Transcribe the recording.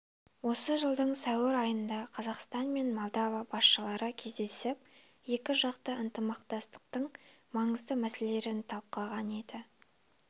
осы жылдың сәуір айында қазақстан мен молдова басшылары кездесіп екі жақты ынтымақтастықтың маңызды мәселелерін талқылаған еді